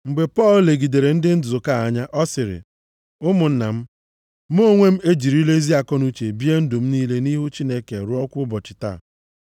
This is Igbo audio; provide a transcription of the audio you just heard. Mgbe Pọl legidere ndị nzukọ a anya, ọ sịrị, “Ụmụnna m, mụ onwe m ejirila ezi akọnuche bie ndụ m niile nʼihu Chineke ruokwa ụbọchị taa.”